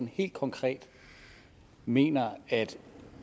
helt konkret mener